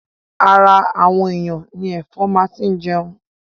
Ara àwọn èyàn ni ẹ̀fọn máa ti jẹun.